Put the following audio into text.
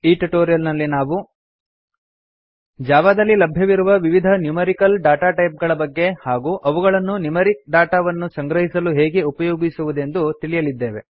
ಈ ಟ್ಯುಟೋರಿಯಲ್ ನಲ್ಲಿ ನಾವು ಜಾವಾ ದಲ್ಲಿ ಲಭ್ಯವಿರುವ ವಿವಿಧ ನ್ಯೂಮೆರಿಕಲ್ ಡಾಟಾಟೈಪ್ ಗಳ ಬಗ್ಗೆ ಹಾಗೂ ಅವುಗಳನ್ನು ನ್ಯೂಮೆರಿಕ್ ಡಾಟಾ ವನ್ನು ಸಂಗ್ರಹಿಸಲು ಹೇಗೆ ಉಪಯೋಗಿಸುವುದೆಂದು ಕಲಿಯಲಿದ್ದೇವೆ